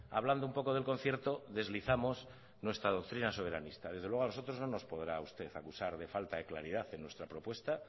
hablando un poco del concierto deslizamos nuestra doctrina soberanista desde luego a nosotros no nos podrá usted acusar de falta de claridad en nuestra propuesta